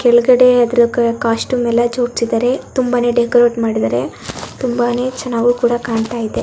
ಕೆಳ್ಗಡೆ ಅದ್ರ ಕೋ ಕಾಸ್ಟ್ಯೂಮ್ ಎಲ್ಲಾ ಜೋಡಿಸದ್ದಾರೆ ತುಂಬಾನೇ ಡೆಕೋರೇಟ್ ಮಾಡಿದ್ದಾರೆ ತುಂಬಾನೇ ಚೆನ್ನಾಗೂ ಕೂಡಾ ಕಾಣ್ತಾ ಇದೆ.